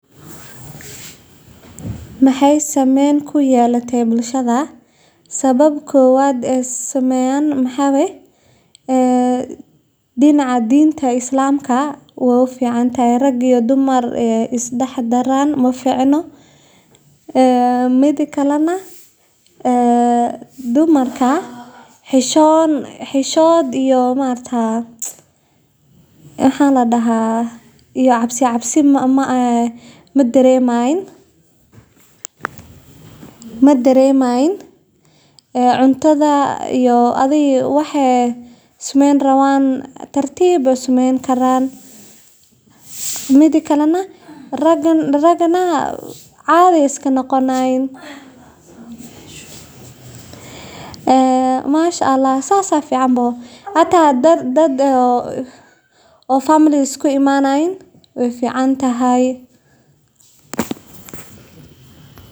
halka balaastigga, biraha, iyo warqadaha la warshadeeyo si dib loogu isticmaalo, taasoo hoos u dhigaysa baahida wax-soo-saar cusub iyo waxyeellada deegaanka. Warshadaha qashinka ma aha oo keliya kuwo deegaanku ka faa’iido, balse sidoo kale waa fursad weyn oo shaqo abuur ah, gaar ahaan dhalinyarada iyo haweenka, iyadoo laga abuuro silsilad dhaqaale oo u dhexeysa ururinta, kala-soocidda, raridda, iyo farsameynta qashinka.